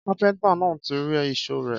Kàpẹńtà nà tí ri ìsó rẹ.